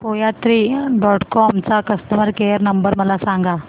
कोयात्री dot com चा customer care number मला सांगा